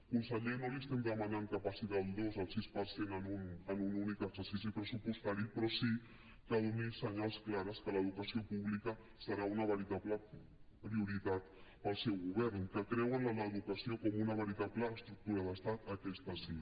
conseller no li estem demanant que passi del dos al sis per cent en un únic exercici pressupostari però sí que doni senyals clars que l’educació pública serà una veritable prioritat per al seu govern que creuen en l’educació com una veritable estructura d’estat aquesta sí